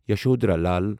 Yashodhara Lal